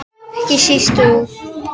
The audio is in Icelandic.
Ekki síst hún.